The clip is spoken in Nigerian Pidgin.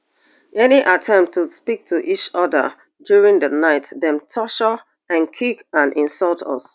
any attempt to speak to each oda during di night dem torture and kick and insult us